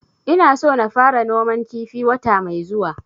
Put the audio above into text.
Ina so na fara noman kifi wata mai zuwa